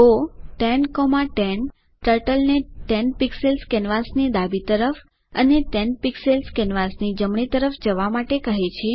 go 1010 ટર્ટલને 10 pixels કેનવાસની ડાબી તરફ અને 10 પિક્સેલ્સ કેનવાસની જમણી તરફ જવા માટે કહે છે